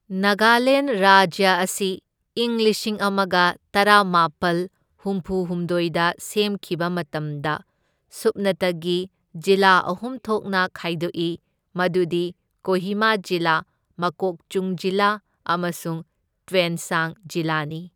ꯅꯥꯒꯥꯂꯦꯟ ꯔꯥꯖ꯭ꯌ ꯑꯁꯤ ꯏꯪ ꯂꯤꯁꯤꯡ ꯑꯃꯒ ꯇꯔꯥꯃꯥꯄꯜ ꯍꯨꯝꯐꯨ ꯍꯨꯝꯗꯣꯢꯗ ꯁꯦꯝꯈꯤꯕ ꯃꯇꯝꯗ ꯁꯨꯞꯅꯇꯒꯤ ꯖꯤꯂꯥ ꯑꯍꯨꯝ ꯊꯣꯛꯅ ꯈꯥꯏꯗꯣꯛꯏ, ꯃꯗꯨꯗꯤ ꯀꯣꯍꯤꯃꯥ ꯖꯤꯂꯥ, ꯃꯣꯀꯣꯛꯆꯨꯡ ꯖꯤꯂꯥ ꯑꯃꯁꯨꯡ ꯇ꯭ꯋꯦꯟꯁꯥꯡ ꯖꯤꯂꯥꯅꯤ꯫